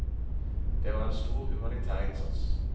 Det var en stor humanitær innsats.